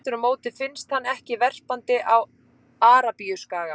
Aftur á móti finnst hann ekki verpandi á Arabíuskaga.